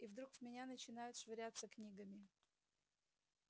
и вдруг в меня начинают швыряться книгами